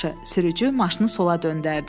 “Yaxşı,” sürücü maşını sola döndərdi.